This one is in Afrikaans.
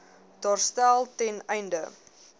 daarstel ten einde